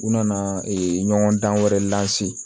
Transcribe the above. U nana ɲɔgɔn dan wɛrɛ